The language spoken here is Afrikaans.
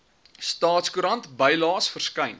staatskoerant bylaes verskyn